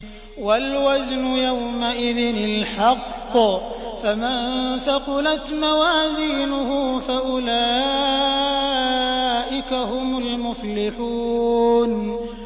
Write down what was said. وَالْوَزْنُ يَوْمَئِذٍ الْحَقُّ ۚ فَمَن ثَقُلَتْ مَوَازِينُهُ فَأُولَٰئِكَ هُمُ الْمُفْلِحُونَ